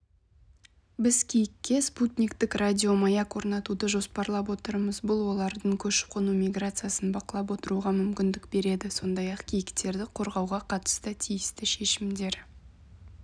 біз киікке спутниктік радиомаяк орнатуды жоспарлап отырмыз бұл олардың көшіп-қону миграциясын бақылап отыруға мүмкіндік береді сондай-ақ киіктерді қорғауға қатысты тиісті шешімдер